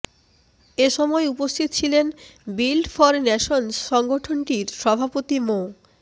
এসময় উপস্থিত ছিলেন বিল্ড ফর ন্যাশনস সংগঠনটির সভাপতি মো